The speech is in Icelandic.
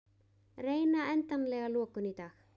Reyna endanlega lokun í dag